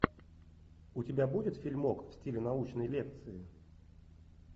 у тебя будет фильмок в стиле научной лекции